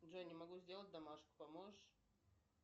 джой не могу сделать домашку поможешь